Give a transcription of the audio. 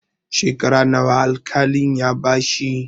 Shekara nawa al-kalin ya bashi?